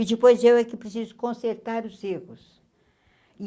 E depois eu, é que preciso consertar os erros.